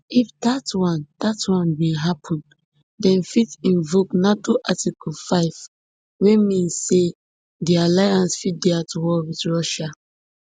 if dat one dat one bin happun dem fit invoke nato article five wey mean say di alliance fit dey at war wit russia